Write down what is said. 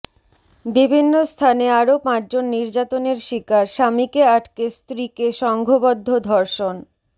বিভিন্ন স্থানে আরো পাঁচজন নির্যাতনের শিকার স্বামীকে আটকে স্ত্রীকে সংঘবদ্ধ ধর্ষণ